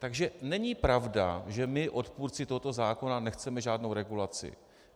Takže není pravda, že my, odpůrci tohoto zákona, nechceme žádnou regulaci.